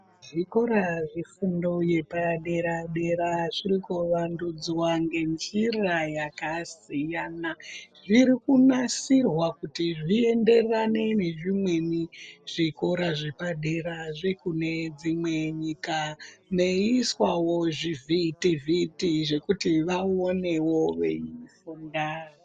Zvikora zvefundo yepadera-dera zvirikuvandudzwa ngenjira yakasiyana. Zvirikunasirwa kuti zvienderane nezvimweni zvikora zvepadera zvekune dzimwe nyika, meiiswawo zvivhiti-vhiti zvekuti vaonewo veifunda.